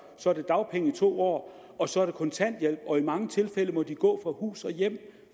så er det dagpenge i to år og så er det kontanthjælp og i mange tilfælde må de gå fra hus og hjem